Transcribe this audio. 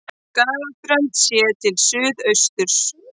Skagaströnd séð til suðausturs.